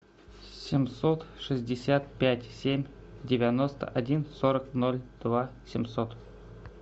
семьсот шестьдесят пять семь девяносто один сорок ноль два семьсот